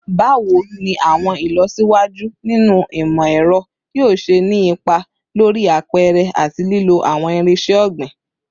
Bawo ni awọn ilọsiwaju ninu imọ-ẹrọ yoo ṣe ni ipa lori apẹrẹ ati lilo awọn irinṣẹ ogbin?